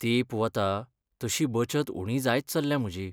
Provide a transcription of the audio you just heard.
तेंप वता तशी बचत उणी जायत चल्ल्या म्हजी.